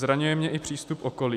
Zraňuje mě i přístup okolí."